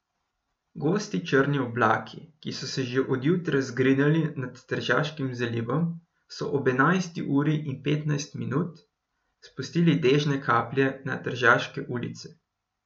Gosti črni oblaki, ki so se že od jutra zgrinjali nad Tržaškim zalivom, so ob enajsti uri in petnajst minut spustili dežne kaplje nad tržaške ulice.